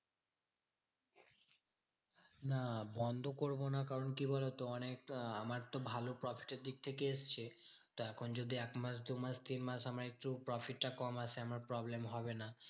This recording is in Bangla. না বন্ধ করবো না কারণ কি বলতো অনেক আহ আমার তো ভালো profit এর দিক থেকে এসেছে। তা এখন যদি একমাস দুমাস তিনমাস আমায় একটু profit টা কম আসে আমার problem হবে না।